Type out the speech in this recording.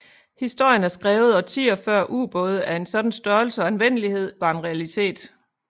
Historien er skrevet årtier før ubåde af en sådan størrelse og anvendelighed var en realitet